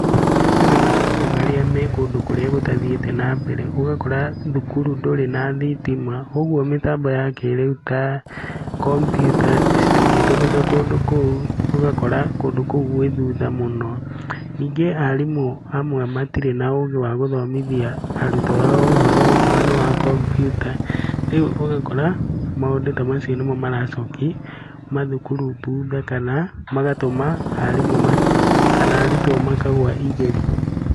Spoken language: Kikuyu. Kwĩna macukuru marĩa me kũndũ kũrĩa gũtathiĩte na mbere, ũgakora thukuru ndũrĩ na thitima ũguo mĩtambo ya kĩrĩu ta kompiuta citingĩtũmĩka kũndũ kũu ũgakora kũndũ kũu gwĩ thutha mũno. Ningĩ arimũ amwe matirĩ na ũgĩ wa gũthomithia arutwo a o ũhoro okorwo nĩ wa kompiuta, rĩu ũgakora maũndũ ta macio nĩmo maracokia mathukuru thutha kana magatũma arimũ kana arutwo makagwa igerio.